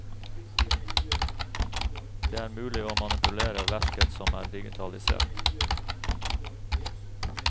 Det er mulig å manipulere verket som er digitalisert.